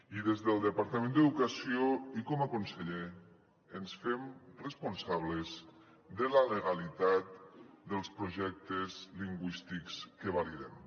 i des del departament d’educació i com a conseller ens fem responsables de la legalitat dels projectes lingüístics que validem